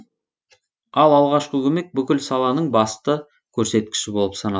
ал алғашқы көмек бүкіл саланың басты көрсеткіші болып саналады